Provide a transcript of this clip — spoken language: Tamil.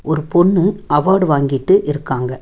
ஒரு பொண்ணு அவார்ட் வாங்கிட்டு இருக்காங்க.